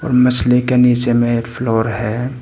और मछली के नीचे में एक फ्लोर है।